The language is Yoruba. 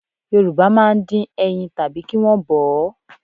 Yorùbá máa ń dín ẹyin tàbí kí wọn ó bọ̀ ọ́